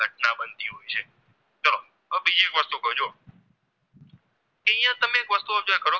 દરેક વસ્તુઓ જ્યાં કરો